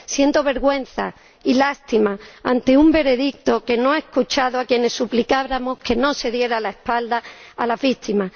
Siento vergüenza y lástima ante un veredicto que no ha escuchado a quienes suplicábamos que no se diera la espalda a las víctimas.